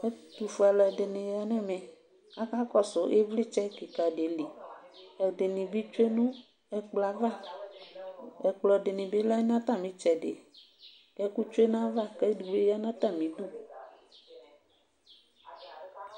ɛtufue aluɛdɩnɩ ya nʊ ɛmɛ, akakɔsu ivlitsɛ be dɩ li, ɛdɩnɩ bɩctsie nʊ ɛkplɔ yɛ ava, ɛkplɔ dɩnɩ bɩ lɛ nʊ atamitsɛdɩ, ɛkutsue nayava, kʊ edigbo ya nʊ atamidu,